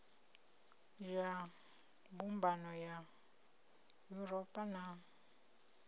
ya mbumbano ya yuropa na